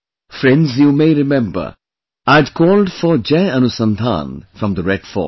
Friends, you may remember, I had called for 'Jai Anusandhan' from the Red Fort